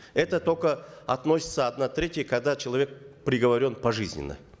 это только относится одна третья когда человек приговорен пожизненно